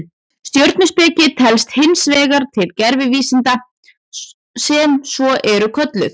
Stjörnuspeki telst hins vegar til gervivísinda sem svo eru kölluð.